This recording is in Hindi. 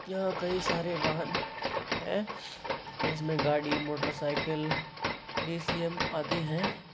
यहाँ कई सारे वाहन है जिसमे गाड़ी मोटरसाइकिल अदि है।